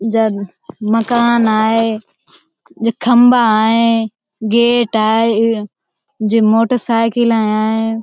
मकान हैं जे खम्बा हैं गेट हैं जे मोटरसाइकिल हैं।